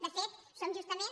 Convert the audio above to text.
de fet som justament